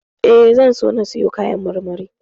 E, zan so na siyo kayan marmari.